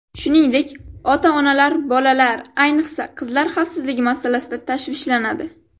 Shuningdek, ota-onalar bolalar, ayniqsa, qizlar xavfsizligi masalasida tashvishlanadi.